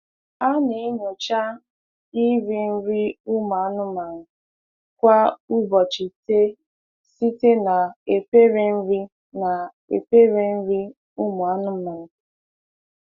Ana-enyocha iri nri ụmụ anụmanụ kwa ubochịite site na efere nri na efere nri umu anụmanụ.